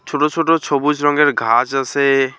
ছোট ছোট সবুজ রঙের ঘাস আসে।